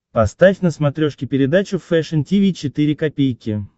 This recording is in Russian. поставь на смотрешке передачу фэшн ти ви четыре ка